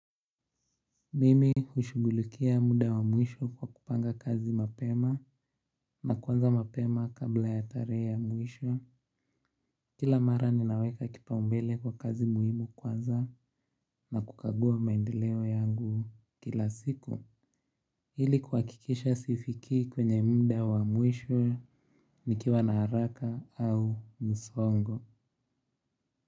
Mimi hushughulikia muda wa mwisho kwa kupanga kazi mapema na kuanza mapema kabla ya tarehe ya mwisho. Kila mara ninaweka kipaumbele kwa kazi muhimu kwanza na kukagua maendeleo yangu kila siku ili kuhakikisha sifikii kwenye muda wa mwisho nikiwa na haraka au msongo.